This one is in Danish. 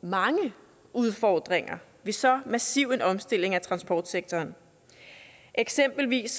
mange udfordringer ved så massiv en omstilling af transportsektoren eksempelvis